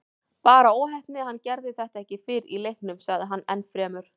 Bara óheppni að hann gerði þetta ekki fyrr í leiknum, sagði hann ennfremur.